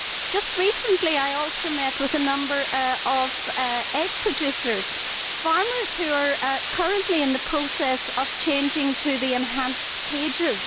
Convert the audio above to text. Just recently, I also met with a number of egg producers, farmers who are currently in the process of changing to the enhanced cages.